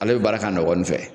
Ala bɛ baara k'a nɔ gɔni fɛ